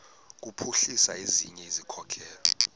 kuphuhlisa ezinye izikhokelo